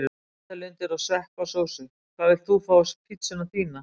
Nautalundir og sveppasósu Hvað vilt þú fá á pizzuna þína?